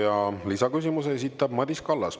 Ja lisaküsimuse esitab Madis Kallas.